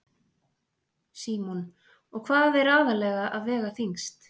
Símon: Og hvað er aðallega að vega þyngst?